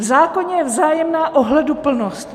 V zákoně je vzájemná ohleduplnost.